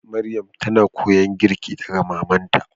Maryam ta na koyon girki daga mamanta.